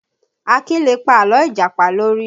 Akin lè pa àlọ́ Ìjàpá lórí